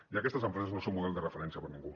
i aquestes empreses no són model de referència per a ningú